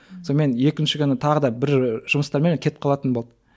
сонымен екінші күні тағы да бір жұмыстармен кетіп қалатын болды